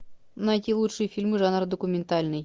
найти лучшие фильмы жанра документальный